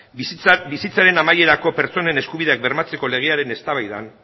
bizitzaren amaierako pertsonen eskubideak bermatzeko legearen eztabaidan